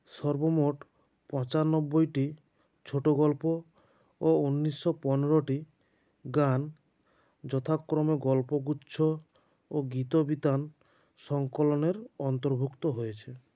সর্বমোট পঁচানব্বই টি ছোটো গল্প ও উনিশো পনেরো টি গান যথাক্রমে গল্পগুচ্ছ ও গীতবিতান সঙ্কলনের অন্তর্ভুক্ত হয়েছে